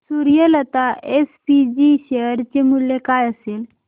Suryalata SPG share चे मूल्य काय असेल